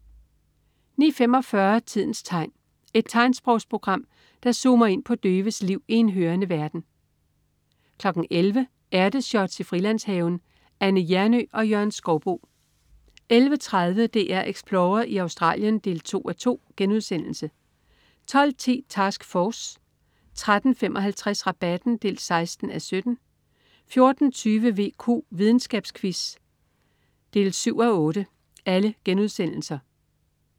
09.45 Tidens tegn. Et tegnsprogsprogram, der zoomer ind på døves liv i en hørende verden 11.00 Ærteshots i Frilandshaven. Anne Hjernø og Jørgen Skouboe 11.30 DR Explorer i Australien 2.2* 12.10 Task Force* 13.55 Rabatten 16:17* 14.20 VQ. Videnskabsquiz 7:8*